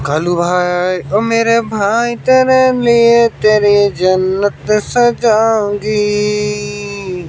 घनु भाई ओ मेरे भाई तेरे लिए तेरी जन्नत सजाऊंगी।